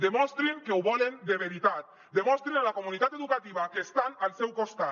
demostrin que ho volen de veritat demostrin a la comunitat educativa que estan al seu costat